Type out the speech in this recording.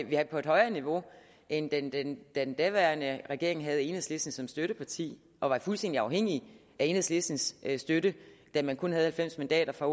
vi er på et højere niveau end da den den daværende regering havde enhedslisten som støtteparti og var fuldstændig afhængig af enhedslistens støtte da man kun havde halvfems mandater fra